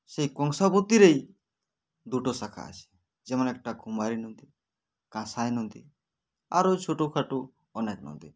সেই কংসাবতীরেই দুটো শাখা আছে যেমন একটা কুমারী নদী কাসাই নদী আরও ছোটো খাটো অনেক নদী